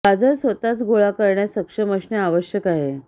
गाजर स्वतःच गोळा करण्यात सक्षम असणे आवश्यक आहे